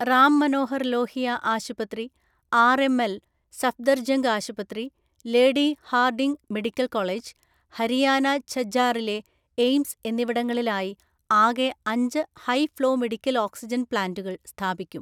റാം മനോഹര്‍ ലോഹിയ ആശുപത്രി ആര്‍.എം.എല്‍., സഫ്ദര്ജംഗ് ആശുപത്രി, Lady Hardinge medical‍ college, Haryana ഝജ്ജാറിലെ എയിംസ് എന്നിവിടങ്ങളിലായി ആകെ അഞ്ച് ഹൈ ഫ്ളോ മെഡിക്കല്‍ ഓക്സിജന്‍ പ്ലാന്റുകള്‍ സ്ഥാപിക്കും.